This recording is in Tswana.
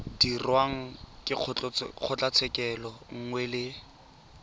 dirwang ke kgotlatshekelo nngwe le